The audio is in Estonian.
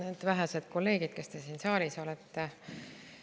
Head vähesed kolleegid, kes te siin saalis olete!